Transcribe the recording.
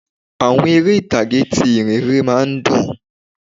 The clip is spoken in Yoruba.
Àwọn eré ìtàgé ti ìhìnrere má a ń dùn